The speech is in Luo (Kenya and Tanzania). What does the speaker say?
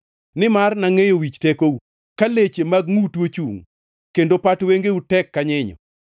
Nimar nangʼeyo wich tekou; ka leche mag ngʼutu ochungʼ, kendo pat wengeu tek ka nyinyo.